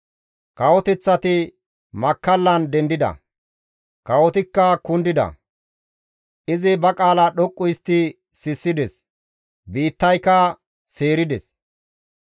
Kawoteththati makkallan dendida; kawotikka kundida; izi ba qaala dhoqqu histti sissides; biittayka seerides.